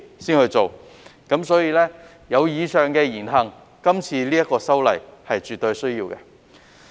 基於那些議員以上言行，這次修例絕對有需要。